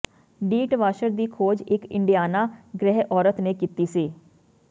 ਡੀਟਵਾਸ਼ਰ ਦੀ ਖੋਜ ਇਕ ਇੰਡੀਆਨਾ ਗ੍ਰਹਿ ਔਰਤ ਨੇ ਕੀਤੀ ਸੀ